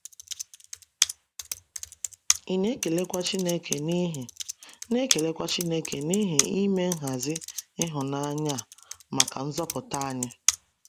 Ị na-ekelekwa Chineke n'ihi na-ekelekwa Chineke n'ihi ime nhazi ịhụnanya a maka nzọpụta anyị?